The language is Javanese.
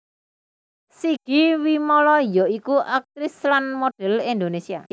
Sigi Wimala ya iku aktris lan model Indonesia